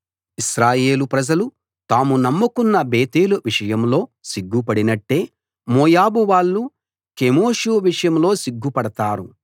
ఇశ్రాయేలు ప్రజలు తాము నమ్ముకున్న బేతేలు విషయంలో సిగ్గు పడినట్టే మోయాబు వాళ్ళు కెమోషు విషయంలో సిగ్గు పడతారు